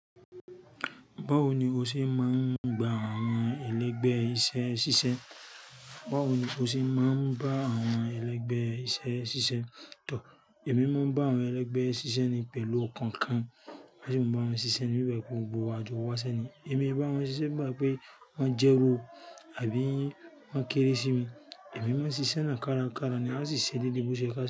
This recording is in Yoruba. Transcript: Báwo ni o ṣe máa ń gba àwọn ẹlẹgbẹ́ iṣẹ́ ṣiṣẹ́? Báwo ni o ṣe máa ń bá àwọn ẹlẹgbẹ́ iṣẹ́ ṣiṣẹ́? Tọ, èmi máa ń bá àwọn ẹlẹgbẹ́ ṣiṣẹ́ ni pẹ̀lú okàn kan. Bí mo bá wọn ṣiṣẹ́, níbẹ̀ gbogbo wa jọ wá sẹ́ni. Èmi bá wọn ṣiṣẹ́ gbà pé wọ́n jẹ́ ru àbí wọ́n kéré sí mi. Èmi máa ń ṣiṣẹ́ náà kárakára ni, a sì ṣe dédé bó ṣe ká ṣe.